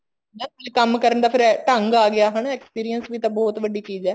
ਕੰਮ ਕਰਨ ਦਾ ਫ਼ੇਰ ਦੰਗ ਆ ਗਿਆ ਹਨਾ experience ਵੀ ਤਾਂ ਬਹੁਤ ਵੱਡੀ ਚੀਜ਼ ਹੈ